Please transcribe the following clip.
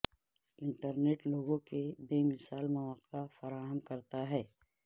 internet لوگوں کے بے مثال مواقع فراہم کرتا ہے